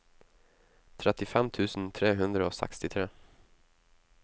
trettifem tusen tre hundre og sekstitre